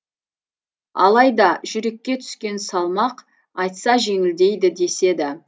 алайда жүрекке түскен салмақ айтса жеңілдейді деседі